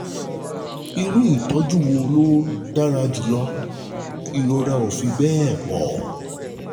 Irú ìtọ́jú wo ló dára jù lọ? Ìrora ò fi bẹ́ẹ̀ pọ̀